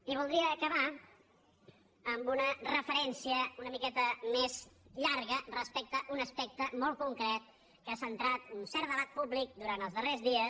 i voldria acabar amb una referència una miqueta més llarga respecte a un aspecte molt concret que ha centrat un cert debat públic durant els darrers dies